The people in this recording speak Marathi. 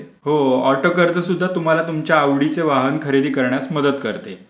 हो ऑटो कर्ज सुद्धा तुम्हाला तुमच्या आवडीचे वाहन खरेदी करण्यास मदत करते.